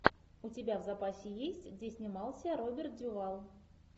у тебя в запасе есть где снимался роберт дюваль